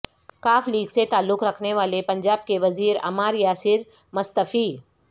ق لیگ سے تعلق رکھنے والے پنجاب کے وزیر عمار یاسر مستعفی